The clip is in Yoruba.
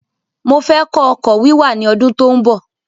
Mofẹ́ kọ́ ọkọ̀ wíwà ní ọdún tó ń bọ̀